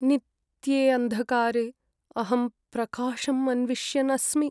नित्ये अन्धकारे अहं प्रकाशम् अन्विष्यन् अस्मि।